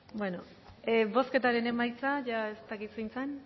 beno bozketaren emaitza jada ez dakit zein zen